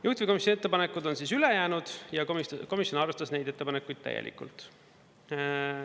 Juhtivkomisjoni ettepanekud on ülejäänud ja komisjon arvestas neid ettepanekuid täielikult.